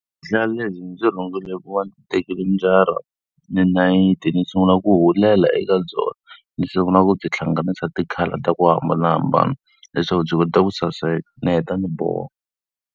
Vuhlalu lebyi ndzi byi rhungile hi ku va ndzi tekile njara ni nayiti ni sungula ku hulela eka byona ni sungula ku byi hlanganisa ti-colour ta ku hambanahambana leswaku byi kota ku saseka ni heta ni boha.